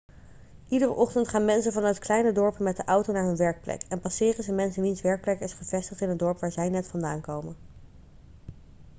iedere ochtend gaan mensen vanuit kleine dorpen met de auto naar hun werkplek en passeren ze mensen wiens werkplek is gevestigd in het dorp waar zij net vandaan komen